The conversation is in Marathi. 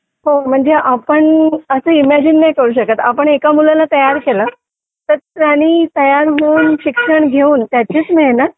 हो म्हणजे आपण इमॅजिन नाही करू शकत आपण एका मुलाला तयार केलं तर त्यांनी तयार होऊन शिक्षण घेऊन त्याचीच मेहनत